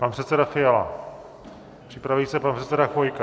Pan předseda Fiala, připraví se pan předseda Chvojka.